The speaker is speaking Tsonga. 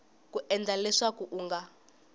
ku endla leswaku u nga